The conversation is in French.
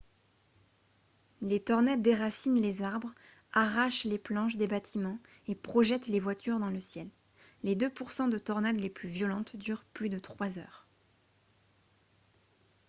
les tornades déracinent les arbres arrachent les planches des bâtiments et projettent les voitures dans le ciel les deux pour cent de tornades les plus violentes durent plus de trois heures